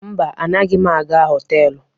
Mba, anaghị m aga họtelụ.